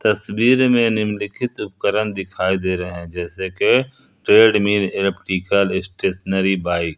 तस्वीर में निम्नलिखित उपकरण दिखाई दे रहे है जैसे कि ट्रेडमील इलेक्ट्रिकल स्टेशनरी बाइक ।